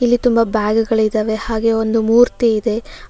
ಇಲ್ಲಿ ತುಂಬಾ ಬ್ಯಾಗ್ ಗಳಿದಾವೆ ಹಾಗೆ ಒಂದು ಮೂರ್ತಿ ಇದೆ.